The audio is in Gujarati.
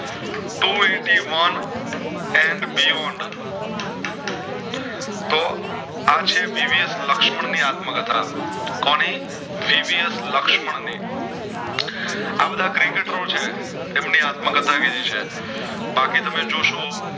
આંછે દિવ્યેશ લક્ષ્મણ ની આત્મ કથા કોની દિવ્યેશ લુક્સમાં ની આબધા Cricketers છે એમની આત્મ કથા કીધી છે બાકી તમે જોશો